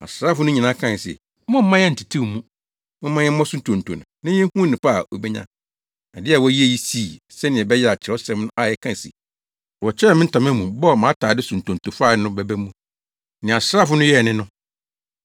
Asraafo no nyinaa kae se, “Mommma yɛnntetew mu. Momma yɛmmɔ so ntonto na yenhu onipa a obenya.” Ade a wɔyɛɛ yi sii, sɛnea ɛbɛyɛ a Kyerɛwsɛm a ɛka se, “Wɔkyekyɛɛ me ntama mu, bɔɔ mʼatade so ntonto fae” no bɛba mu. Nea asraafo no yɛe ne no.